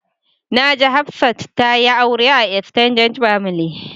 Na ji Hafsat ta yi aure a "extended family ".